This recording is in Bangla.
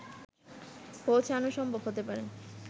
পৌঁছানো সম্ভব হতে পারে